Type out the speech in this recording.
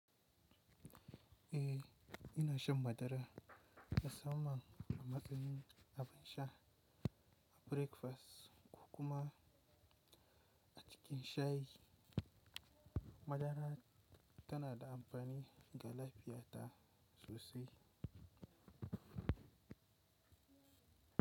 Eh, ina shan madara na sa man a matsayin abin sha a breakfast kuma a cikin shayi. Madara tana da amfani ga lafiya ta sosai.